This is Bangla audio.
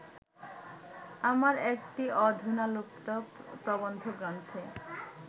আমার একটি অধুনালুপ্ত প্রবন্ধগ্রন্থে